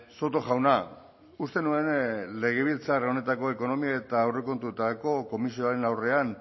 soto jauna uste nuen legebiltzar honetako ekonomia eta aurrekontuetako komisioaren aurrean